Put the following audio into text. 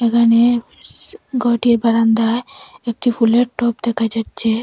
এখানে স ঘরটির বারান্দায় একটি ফুলের টব দেখা যাচ্চে ।